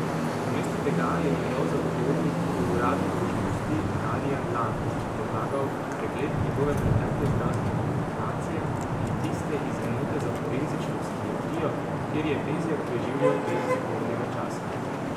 Namesto tega je njegov zagovornik po uradni dolžnosti Darijan Lampič predlagal pregled njegove pretekle zdravstvene dokumentacije in tiste iz enote za forenzično psihiatrijo, kjer je Bezjak preživljal del pripornega časa.